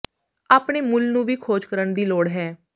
ਆਪਣੇ ਮੁੱਲ ਨੂੰ ਵੀ ਖੋਜ ਕਰਨ ਦੀ ਲੋੜ ਹੈ